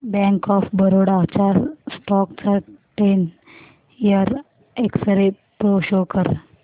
bank of Baroda च्या stock चा ten year एक्सरे प्रो शो कर